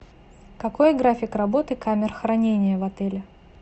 какой график работы камер хранения в отеле